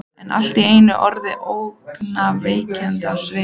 Er allt í einu orðin ógnvekjandi á svip.